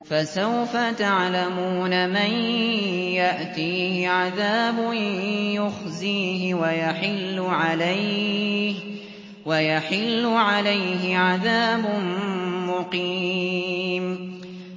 فَسَوْفَ تَعْلَمُونَ مَن يَأْتِيهِ عَذَابٌ يُخْزِيهِ وَيَحِلُّ عَلَيْهِ عَذَابٌ مُّقِيمٌ